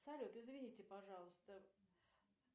салют извините пожалуйста